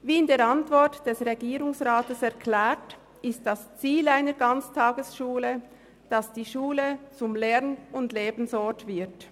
Wie in der Antwort des Regierungsrates erklärt, ist das Ziel einer Ganztagesschule, dass die Schule zum Lern- und Lebensort wird.